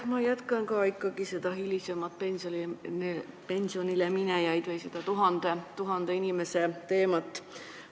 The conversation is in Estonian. Ma jätkan ka ikkagi seda hilisemate pensionisaajate või nende 1000 inimese teemat.